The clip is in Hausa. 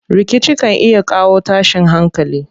Rikici kan iya kawo tashin hankali.